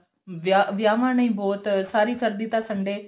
ਵਿਆਹ ਵਿਆਹਵਾਂ ਨੇ ਬਹੁਤ ਸਾਰੀ ਸਰਦੀ ਤਾਂ Sunday